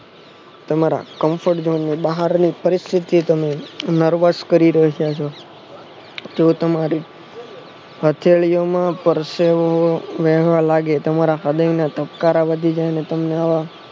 તમારા confront zone નું બહારની પરિસ્થિતિ એ nervous કરી નાખ્યા છે જો તમારી હથેળીઓમાં હું પરસેવો વેહવા લાગે હૃદયના ધબકારા વધી જાયને